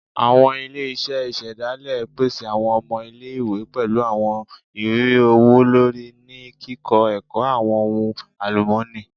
Awọn ile-iṣẹ isedale pese awọn ọmọ ile-iwe pẹlu awọn iriri ọwọ-lori ni kikọ ẹkọ awọn ohun alumọni